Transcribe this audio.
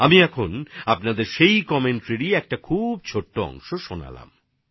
এখন আমি এই ধারাভাষ্যের একটা ছোট অংশ আপনাদের শুনিয়েছি